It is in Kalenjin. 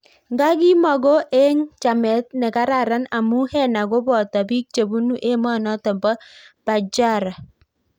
Nga kimoko eng chamet ne kararan amuu Heena kopotoo piik chebunu emonotok poo Bacchara